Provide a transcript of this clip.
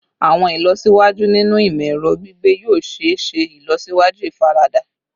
Awọn ilọsiwaju ninu imọ-ẹrọ gbigbe yoo ṣee ṣe ilọsiwaju ifarada